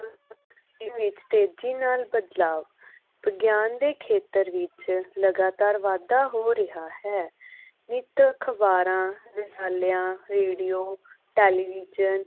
ਦੇ ਵਿਚ ਤੇਜੀ ਨਾਲ ਬਦਲਾਵ ਵਿਗਿਆਨ ਦੇ ਖੇਤਰ ਵਿਚ ਲਗਾਤਾਰ ਵਾਧਾ ਹੋ ਰਿਹਾ ਹੈ ਨਿੱਤ ਅਖਬਾਰਾਂ ਰਸਾਲਿਆਂ ਰੇਡੀਓ ਟੇਲੀਵਿਜ਼ਨ